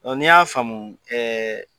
Ne y'a faamuuu